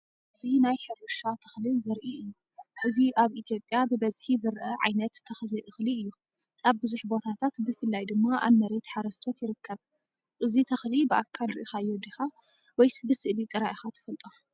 እዚ ናይ ሕርሻ ተኽሊ ዘርኢ እዩ። እዚ ኣብ ኢትዮጵያ ብብዝሒ ዝረአ ዓይነት ተኽሊ እኽሊ እዩ። ኣብ ብዙሕ ቦታታት ብፍላይ ድማ ኣብ መሬት ሓረስቶት ይርከብ። እዚ ተኽሊ ብኣካል ርኢኻዮ ዲኻ ወይስ ብስእሊ ጥራይ ኢኻ ትፈልጦ?